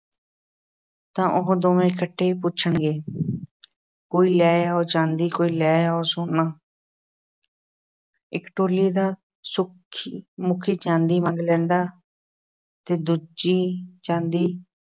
ਤਾਂ ਉਹ ਦੋਵੇਂ ਇਕੱਠੇ ਪੁੱਛਣਗੇ ਕੋਈ ਲੈ ਲਓ ਚਾਂਦੀ, ਕੋਈ ਲੈ ਲਓ ਸੋਨਾ ਇੱਕ ਟੋਲੀ ਦਾ ਸੁ ਮੁਖੀ ਚਾਂਦੀ ਮੰਗ ਲੈਂਦਾ ਹੈ ਅਤੇ ਦੂਜੀ ਚਾਂਦੀ